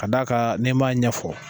Ka d'a kan, ni ma ɲɛfɔ.